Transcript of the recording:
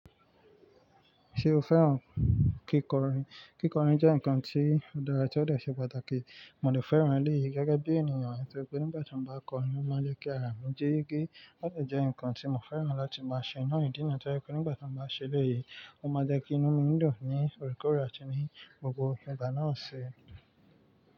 Ṣé o fẹ́ràn kíkọrin? Kíkọrin jẹ́ nǹkan tí o dara tó dè ṣe pàtàkì. Mo dè fẹ́ràn eléyìí gẹ́gẹ́ bí ènìyàn torí pé nígbà tí mo bá kọrin, ó máa ń jẹ́ kí àrà mi jí. Gé ó lè jẹ́ nǹkan tí mo fẹ́ràn láti máa ṣe ná ìdí níyen to je pé nígbà tí mo bá ṣẹ elẹ̀ èyí, ó máa ń jẹ́ kí inú mi dùn ní òrékòóré ko àti ní gbogbo ìgbà náà ṣi.